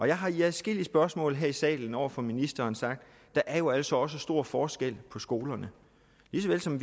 jeg har i adskillige spørgsmål her i salen over for ministeren sagt at der jo altså også er stor forskel på skolerne lige så vel som